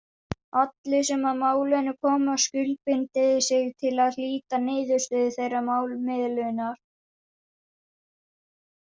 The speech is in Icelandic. Allir sem að málinu koma skuldbindi sig til að hlíta niðurstöðu þeirrar málamiðlunar.